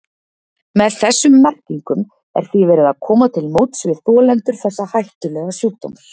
Með þessum merkingum er því verið að koma til móts við þolendur þessa hættulega sjúkdóms.